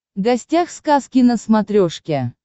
гостях сказки на смотрешке